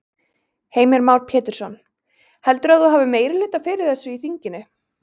Heimir Már Pétursson: Heldurðu að þú hafi meirihluta fyrir þessu í þinginu?